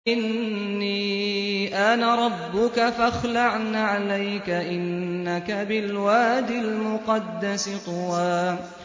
إِنِّي أَنَا رَبُّكَ فَاخْلَعْ نَعْلَيْكَ ۖ إِنَّكَ بِالْوَادِ الْمُقَدَّسِ طُوًى